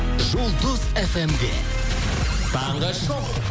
жұлдыз фм де таңғы шоу